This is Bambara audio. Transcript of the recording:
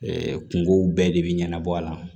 kungow bɛɛ de be ɲɛnabɔ a la